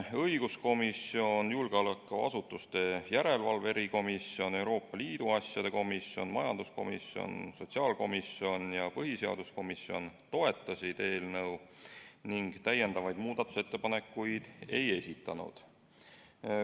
Õiguskomisjon, julgeolekuasutuste järelevalve erikomisjon, Euroopa Liidu asjade komisjon, majanduskomisjon, sotsiaalkomisjon ja põhiseaduskomisjon toetasid eelnõu ning muudatusettepanekuid ei esitanud.